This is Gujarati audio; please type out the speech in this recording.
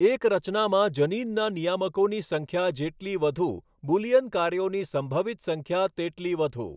એક રચનામાં જનીનના નિયામકોની સંખ્યા જેટલી વધુ, બુલિયન કાર્યોની સંભવિત સંખ્યા તેટલી વધુ.